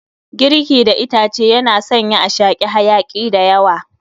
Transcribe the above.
Girki da itace yana sanya a shaki hayaki dayawa